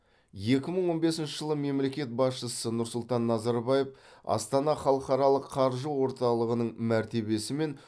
екі мың он бесінші жылы мемлекет басшысы нұрсұлтан назарбаев астана халықаралық қаржы орталығының мәртебесі мен